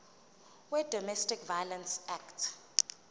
wedomestic violence act